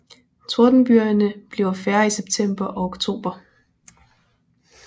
Tordenbygerne bliver færre i september og oktober